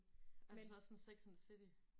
Er du så også sådan sex and the city?